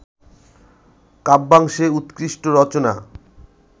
কাব্যাংশে উৎকৃষ্ট রচনা